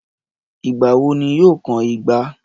Ìgbà wo ní yóò kan igba?